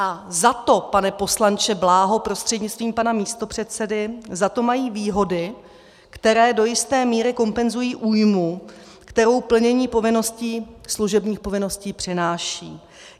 A za to, pane poslanče Bláho prostřednictvím pana místopředsedy, za to mají výhody, které do jisté míry kompenzují újmu, kterou plnění povinností, služebních povinností přináší.